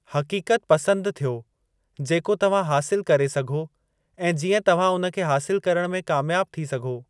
हक़ीक़त पसंदि थियो जेको तव्हां हासिलु करे सघो ऐं जीअं तव्हां उन खे हासिलु करण में कामयाबु थी सघो।